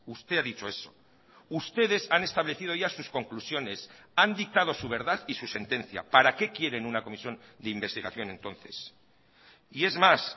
usted ha dicho eso ustedes han establecido ya sus conclusiones han dictado su verdad y su sentencia para qué quieren una comisión de investigación entonces y es más